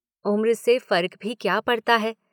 उम्र से फ़र्क भी क्या पड़ता है